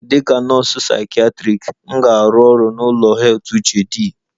Dịka nọọsụ psychiatric, m ga-arụ ọrụ n'ụlọ heath uche d